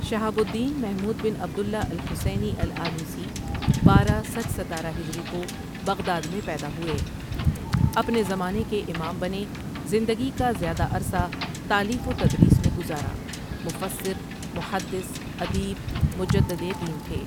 شہاب الدین محمود بن عبد اللہ الحسینی الٓالوسی بارہ سچ ستارہ ہجری کو بغداد میں پیدا ہوئے اپنے زمانے کے امام بنے زندگی کا زیادہ عرصہ تالیف و تدریس میں گزارا مفسر، محدث، ادیب، مجدد دين تھے.